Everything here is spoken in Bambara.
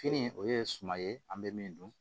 Fini o ye suma ye an bɛ min dun